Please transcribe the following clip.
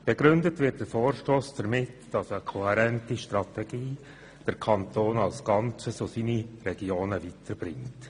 Begründet wird der Vorstoss damit, dass eine kohärente Strategie den Kanton als Ganzes ebenso wie seine Regionen vorwärts bringt.